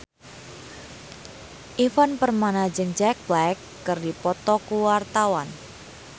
Ivan Permana jeung Jack Black keur dipoto ku wartawan